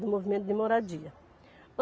do movimento de moradia.